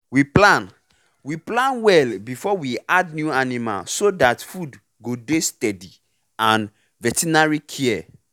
we plan we plan well before we add new animal so that food go dey steady and veterinary care